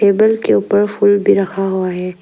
Table के ऊपर फूल भी रखा हुआ है।